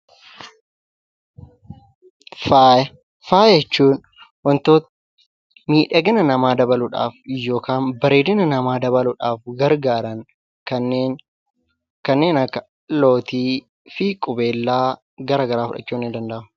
Faaya. Faaya jechuun wantoota miidhagina namaa dabaluudhaaf yookiin bareedina namaa dabaluidhaaf gargaaran kanneen akka lootii fi qubeelaa fi kan garaa garaa fudhachuun ni danda'ama.